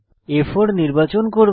আমি আ4 নির্বাচন করব